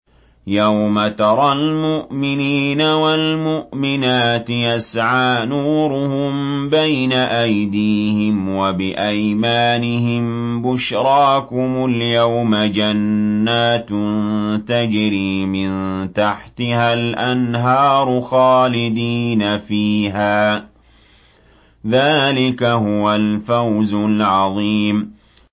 يَوْمَ تَرَى الْمُؤْمِنِينَ وَالْمُؤْمِنَاتِ يَسْعَىٰ نُورُهُم بَيْنَ أَيْدِيهِمْ وَبِأَيْمَانِهِم بُشْرَاكُمُ الْيَوْمَ جَنَّاتٌ تَجْرِي مِن تَحْتِهَا الْأَنْهَارُ خَالِدِينَ فِيهَا ۚ ذَٰلِكَ هُوَ الْفَوْزُ الْعَظِيمُ